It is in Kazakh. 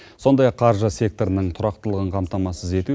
сондай ақ қаржы секторының тұрақтылығын қамтамасыз ету